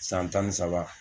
San tan ni saba